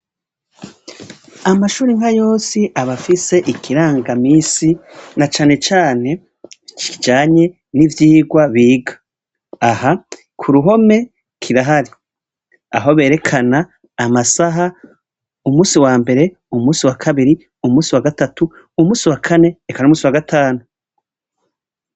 Amashure nkayose abafise ikirangamisi nacanecane kijanye n'ivyigwa biga. Aha kuruhome kirahari; ahoberekana amasaha, umusi wambere, umusi wakabiri, umusi wagatatu, umusi wakane eka n'umusi wagatanu.